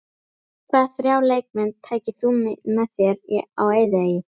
Hvaða þrjá leikmenn tækir þú með þér á eyðieyju?